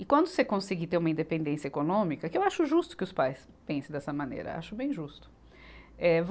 E quando você conseguir ter uma independência econômica, que eu acho justo que os pais pensem dessa maneira, acho bem justo. Eh